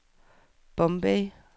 Bombay